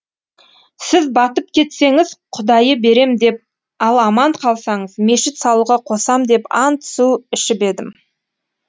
сіз батып кетсеңіз құдайы берем деп ал аман қалсаңыз мешіт салуға қосам деп ант су ішіп едім